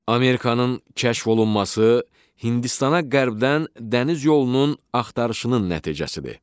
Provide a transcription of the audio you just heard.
Amerikanın kəşf olunması Hindistana qərbdən dəniz yolunun axtarışının nəticəsidir.